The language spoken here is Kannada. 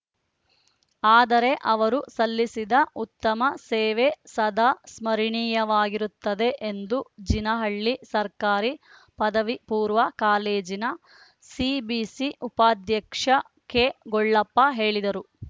ಆದರೆ ಅವರು ಸಲ್ಲಿಸಿದ ಉತ್ತಮ ಸೇವೆ ಸದಾ ಸ್ಮರಣೀಯವಾಗಿರುತ್ತದೆ ಎಂದು ಜೀನಹಳ್ಳಿ ಸರ್ಕಾರಿ ಪದವಿ ಪೂರ್ವ ಕಾಲೇಜಿನ ಸಿಬಿಸಿ ಉಪಾಧ್ಯಕ್ಷ ಕೆಗೊಳ್ಳಪ್ಪ ಹೇಳಿದರು